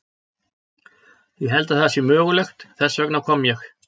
Ég held að það sé mögulegt, þess vegna kom ég.